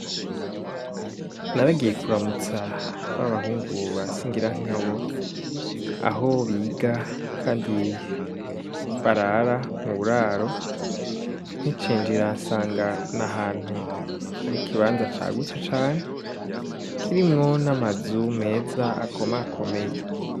Naragiye kuramutsa b'abahungu ba singira nka bo aho biga, kandi barara mu buraro nkicenjira nsanga na ahantu ari ikibanza cagutse cane kirimwo n'amazu meza akomakomeye.